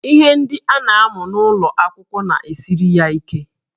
Ihe ndị a na-amụ n'ụlọ akwụkwọ na-esiri ya ike